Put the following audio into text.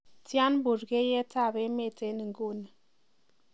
tian burkeiyet ab emeet en inguni